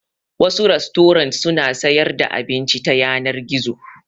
Wasu rastorant suna sayar da abinci ta yanar gizo.